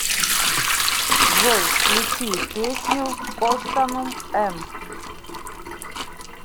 джой включи песню костанум эм